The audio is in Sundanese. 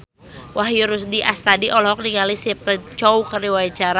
Wahyu Rudi Astadi olohok ningali Stephen Chow keur diwawancara